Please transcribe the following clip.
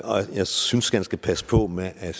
og jeg synes han skal passe på med at